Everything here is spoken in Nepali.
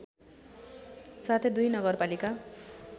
साथै दुई नगरपालिका